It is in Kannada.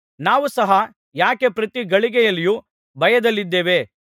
ನಾವು ಸಹ ಯಾಕೆ ಪ್ರತಿ ಗಳಿಗೆಯಲ್ಲಿಯೂ ಭಯದಲ್ಲಿದ್ದೇವೆ